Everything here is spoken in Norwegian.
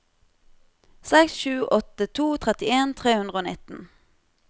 seks sju åtte to trettien tre hundre og nitten